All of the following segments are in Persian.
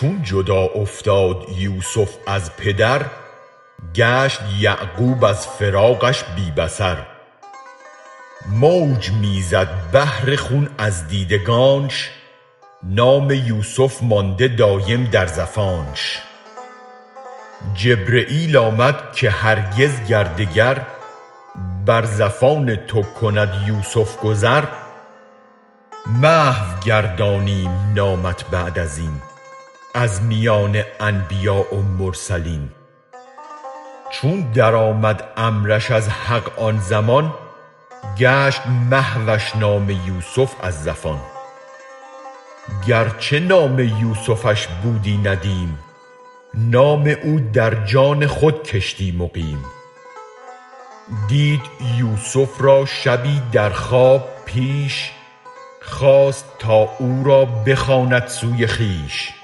چون جدا افتاد یوسف از پدر گشت یعقوب از فراقش بی بصر موج می زد بحر خون از دیدگانش نام یوسف مانده دایم در زفانش جبرییل آمد که هرگز گر دگر بر زفان تو کند یوسف گذر محو گردانیم نامت بعد ازین از میان انبیا و مرسلین چون درآمد امرش از حق آن زمان گشت محوش نام یوسف از زفان گر چه نام یوسفش بودی ندیم نام او در جان خود کشتی مقیم دید یوسف را شبی در خواب پیش خواست تا او را بخواند سوی خویش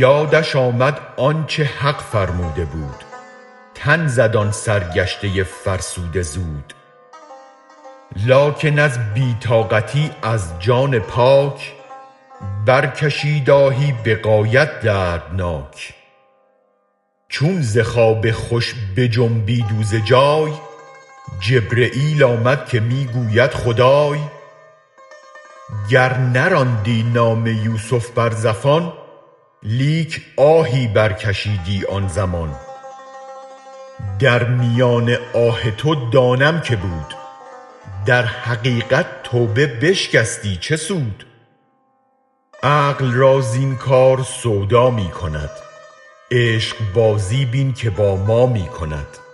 یادش آمد آنچ حق فرموده بود تن زد آن سرگشته فرسوده زود لکن از بی طاقتی از جان پاک برکشید آهی به غایت دردناک چون ز خواب خوش بجنبید او ز جای جبرییل آمد که می گوید خدای گر نراندی نام یوسف بر زفان لیک آهی برکشیدی آن زمان در میان آه تو دانم که بود در حقیقت توبه بشکستی چه سود عقل را زین کار سودا می کند عشق بازی بین که با ما می کند